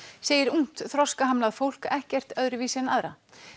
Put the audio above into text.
segir ungt þroskahamlað fólk ekkert öðruvísi en aðra